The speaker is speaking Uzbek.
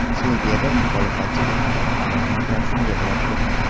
Serbiyada muxolifatchi deputat parlament raisini yig‘latdi .